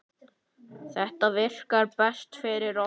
Þetta virkar best fyrir okkur.